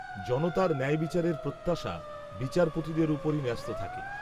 জনতার ন্যায়বিচারের প্রত্যাশা, বিচারপতিদের ওপরই, ন্যস্ত থাকে